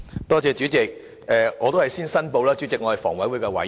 代理主席，我先申報我是房委會委員。